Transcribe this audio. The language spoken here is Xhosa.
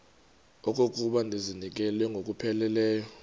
okokuba ndizinikele ngokupheleleyo